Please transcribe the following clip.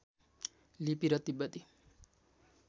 लिपि र तिब्बती